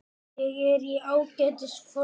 Ég er í ágætis formi.